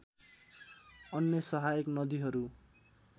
अन्य सहायक नदीहरू